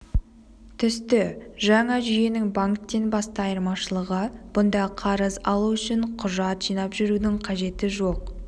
түсті жаңа жүйенің банктен басты айырмашылығы бұнда қарыз алу үшін құжат жинап жүрудің қажеті жоқ